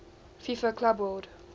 fifa club world